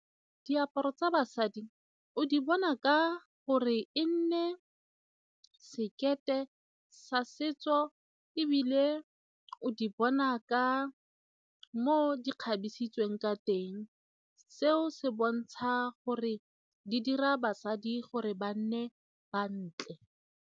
Diaparo tsa basadi o di bona ka gore e nne sekete sa setso ebile o di bona ka moo di kgabisitsweng ka teng, seo se bontsha gore di dira basadi gore ba nne bantle.